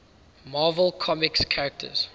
marvel comics characters